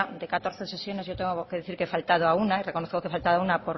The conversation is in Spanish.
de catorce sesiones yo tengo que decir que he faltado una y reconozco que he faltado a una